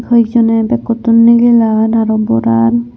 haw ek jone backotun nigilar aro boraar.